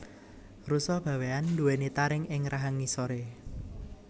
Rusa bawean duweni taring ing rahang ngisore